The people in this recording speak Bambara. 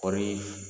Kɔɔri